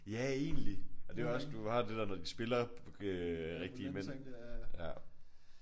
Ja egentlig. Og det er også du har det der når de spiller øh rigtige mænd